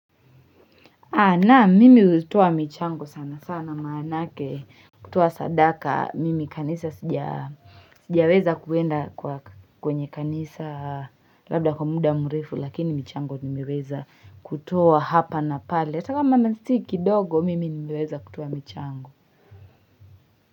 Naam mimi hutoa michango sana sana maanake kutoa sadaka mimi kanisa sija sijaweza kuenda kwenye kanisa labda kwa muda mrefu lakini michango nimiweza kutoa hapa na pale atakama si kindogo mimi nimeweza kutoa michango.